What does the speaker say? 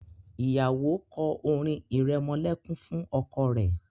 Ìyàwó kò orin iremolekun fún ọkọ rẹ.